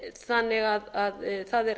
þannig að það er